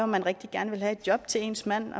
man rigtig gerne ville have et job til ens mand